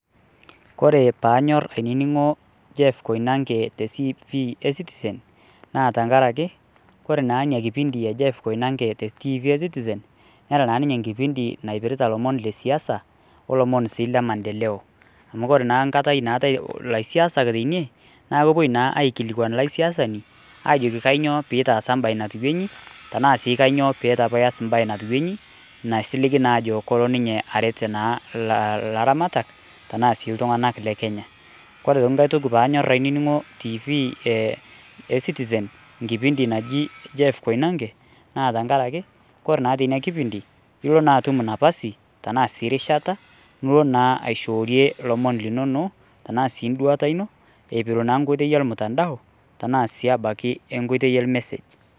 Kore panyorr aininingo Jeff Koinange te tv e citizen naa tenkaraki ore naa Ina kipindi e Jeff Koinange te tv e citizen Neeta naa ninye ilomon laipirita ilomon le siasa olomon si le maendeleo. Amu ore naa nkata naatae ilaisiasak teine naa kepuo naa aikilikwan ilaisiasani Ajo kainyioo pitaasa embae natiu inji tenaa kainyioo peitu apa ias imbae natiu inyi naisiligi naa Ajo kolo ninye aret ilaramatak tenaa sii iltunganak le Kenya . Ore tee nkae toki panyorr aininingo tv e citizen, kipindi naji Jeff Koinange naa tenkaraki ore tina kipindi ilo si atum napasi tenaa sii rishata nilo naa aishoorie ilomon linono tenaa si nduata ino ipiru naa nkoitoi ormutandao tenaa sii abaiki tenkoitoi or message.